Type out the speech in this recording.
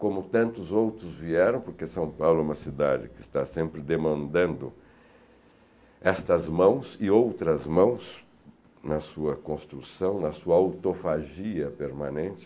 como tantos outros vieram, porque São Paulo é uma cidade que está sempre demandando estas mãos e outras mãos na sua construção, na sua autofagia permanente.